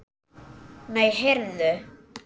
Nei, heyrðu.